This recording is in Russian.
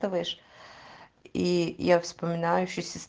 слышь и я вспоминаю себя